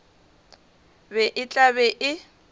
be e tla be e